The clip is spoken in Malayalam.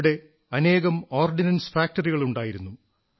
ഇവിടെ അനേകം ഓർഡനൻസ് ഫാക്ടറികളുണ്ടായിരുന്നു